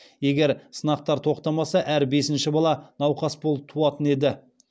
егер сынақтар тоқтамаса әр бесінші бала науқас болып туатын еді